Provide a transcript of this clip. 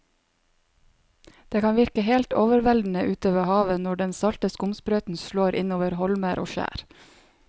Det kan virke helt overveldende ute ved havet når den salte skumsprøyten slår innover holmer og skjær.